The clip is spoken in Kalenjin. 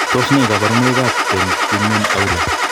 Tos nee kabarunaik ab Penttinen Aula ?